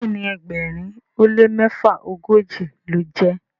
Béèni ẹgbẹrin o le mefaogoji lọ jé.